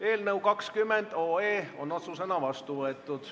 Eelnõu 20 on otsusena vastu võetud.